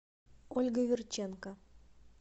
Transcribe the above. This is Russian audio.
ольга верченко